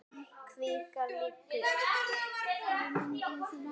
Kvikar líkur.